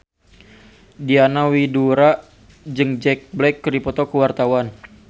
Diana Widoera jeung Jack Black keur dipoto ku wartawan